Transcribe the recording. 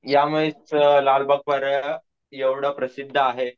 या लालबाग परळ एवढं प्रसिद्ध आहे,